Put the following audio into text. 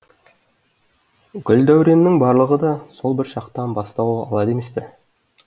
гүл дәуреннің барлығы да сол бір шақтан бастау алады емес пе